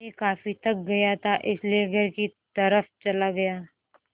मैं काफ़ी थक गया था इसलिए घर की तरफ़ चला गया